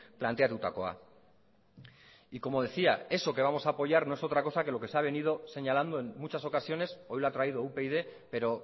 planteatutakoa y como decía eso que vamos a apoyar no es otra cosa que lo que se ha venido señalando en muchas ocasiones hoy lo ha traído upyd pero